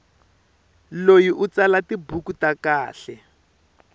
loyi u tsala tibuku ta kahle